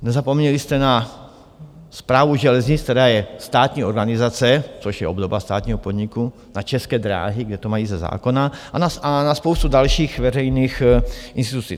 Nezapomněli jste na Správu železnic, která je státní organizace, což je obdoba státního podniku, a České dráhy, kde to mají ze zákona, a na spoustu dalších veřejných institucí.